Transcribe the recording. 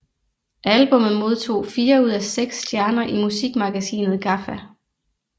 Albummet modtog fire ud af seks stjerner i musikmagasinet GAFFA